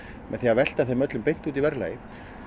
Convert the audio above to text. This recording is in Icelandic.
með því að velta þeim öllum beint út í verðlagið